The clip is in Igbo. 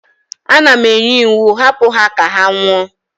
Ana m enye iwu, hapu ha ka ha nwụọ!